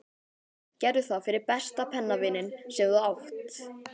Gerðu það fyrir besta pennavininn sem þú átt.